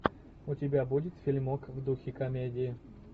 у тебя будет фильмок в духе комедии